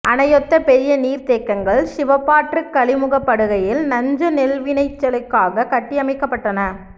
அணையொத்த பெரிய நீர்த்தேக்கங்கள் சிவப்பாற்றுக் கழிமுகப் படுகையில் நஞ்சை நெல்விளைச்சலுக்காக கட்டியமைக்கப்பட்டன